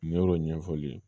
ɲɛfɔli ye